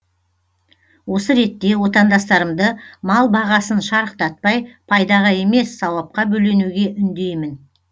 осы ретте отандастарымды мал бағасын шарықтатпай пайдаға емес сауапқа бөленуге үндеймін